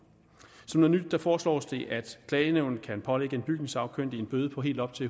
som noget nyt foreslås det at klagenævnet kan pålægge en bygningssagkyndig en bøde på helt op til